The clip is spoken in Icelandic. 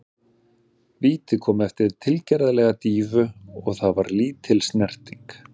Vítið kom eftir tilgerðarlega dýfu og það var lítil snerting.